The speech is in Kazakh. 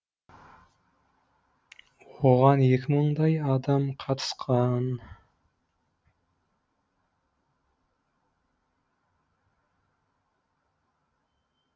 оған екі мыңдай адам қатысқан